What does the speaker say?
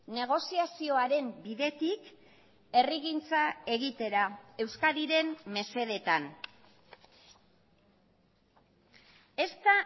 negoziazioaren bidetik herrigintza egitera euskadiren mesedetan esta